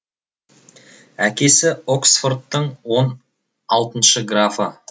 әкесі оксфордтың он алтыншы графы